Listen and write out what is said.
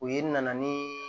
U ye na ni